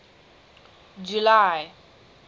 july